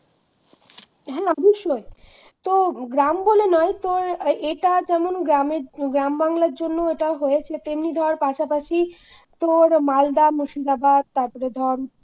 হ্যাঁ অবশ্যই তো গ্রাম বলে নয় তো এটা যেমন গ্রামে, গ্রাম বাংলার জন্য এটা হয়েছে তেমনি ধর পাশাপাশি তোর মালদা, মুর্শিদাবাদ তারপরে ধর